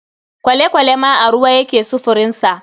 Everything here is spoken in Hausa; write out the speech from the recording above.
Kwale-kwale ma a ruwa yake sufurinsa.